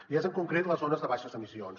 i és en concret les zones de baixes emissions